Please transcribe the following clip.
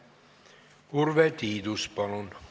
Urve Tiidus, palun!